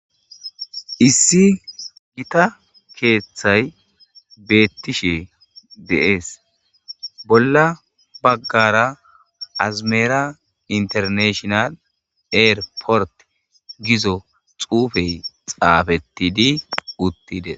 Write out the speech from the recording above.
Issi gita keeththay beettishe deees bolla baggara azimera internashional eir port gizo xuufey xaafettidi uttide.